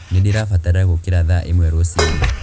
nīndīrabatara gūkīra thaa īmwe rūcinī